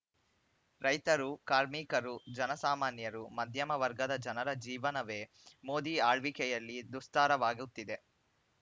ರೈತರು ಕಾರ್ಮಿಕರು ಜನ ಸಾಮಾನ್ಯರು ಮಧ್ಯಮ ವರ್ಗದ ಜನರ ಜೀವನವೇ ಮೋದಿ ಆಳ್ವಿಕೆಯಲ್ಲಿ ದುಸ್ತಾರವಾಗುತ್ತಿದೆ